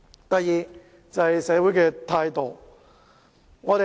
第二，是社會態度。